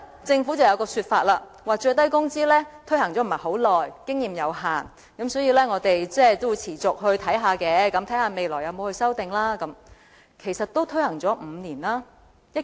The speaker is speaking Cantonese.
政府還有一個說法，就是最低工資的推行時間不是很長，經驗有限，所以要持續留意，看看日後需要作出甚麼修訂。